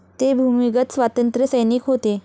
ते भूमिगत स्वातंत्र्यसैनिक होते.